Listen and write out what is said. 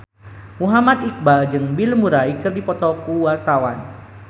Muhammad Iqbal jeung Bill Murray keur dipoto ku wartawan